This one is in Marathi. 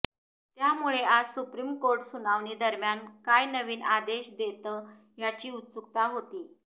त्यामुळे आज सुप्रीम कोर्ट सुनावणी दरम्यान काय नवीन आदेश देतं याची उत्सुकता होती